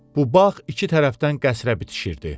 Bu bağ iki tərəfdən qəsrə bitişirdi.